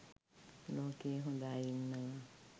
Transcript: ලෝකයේ හොඳ අය ඉන්නවා